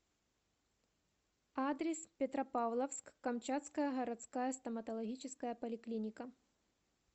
адрес петропавловск камчатская городская стоматологическая поликлиника